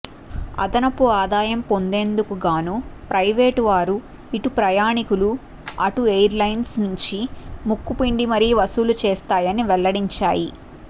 అదనపు ఆదాయం పొందేందుకుగాను ప్రైవేటువారు ఇటు ప్రయాణికులు అటు ఎయిర్లైన్స్ నుంచి ముక్కిపిండి మరీ వసూలు చేస్తాయని వెల్లడించాయి